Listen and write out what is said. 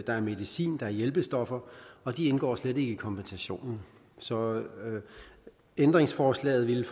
er medicin og hjælpestoffer og de indgår slet ikke i kompensationen så ændringsforslaget